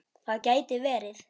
Það gæti verið.